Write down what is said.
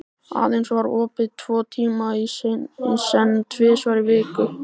Aðeins var opið tvo tíma í senn tvisvar í viku.